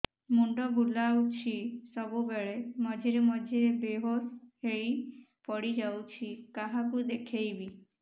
ମୁଣ୍ଡ ବୁଲାଉଛି ସବୁବେଳେ ମଝିରେ ମଝିରେ ବେହୋସ ହେଇ ପଡିଯାଉଛି କାହାକୁ ଦେଖେଇବି